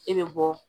E bɛ bɔ